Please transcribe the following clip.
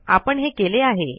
आपण हे केले आहे